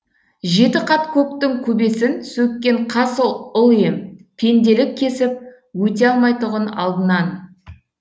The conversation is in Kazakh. жеті қат көктің көбесін сөккен қас ұл ем пенделік кесіп өте алмайтұғын алдынан